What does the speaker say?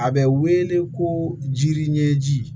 A bɛ wele ko jiri ɲɛji